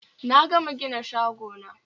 Na gama gina shagona